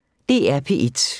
DR P1